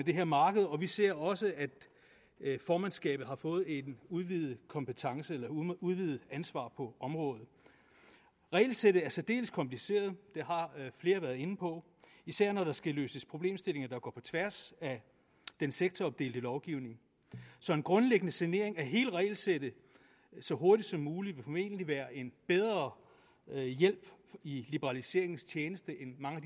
det her marked og vi ser også at formandskabet har fået et udvidet udvidet ansvar på området regelsættet er særdeles kompliceret det har flere været inde på især når der skal løses problemstillinger der går på tværs af den sektoropdelte lovgivning så en grundlæggende sanering af hele regelsættet så hurtigt som muligt må egentlig være en bedre hjælp i liberaliseringens tjeneste end mange af